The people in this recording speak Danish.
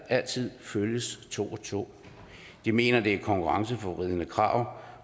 altid følges to og to de mener at det er et konkurrenceforvridende krav